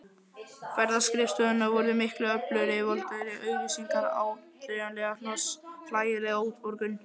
Ferðaskrifstofunnar svo miklu öflugri: voldugri auglýsingar, áþreifanlegra hnoss, hlægileg útborgun.